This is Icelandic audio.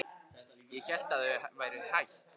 Ég hélt að þau væru hætt.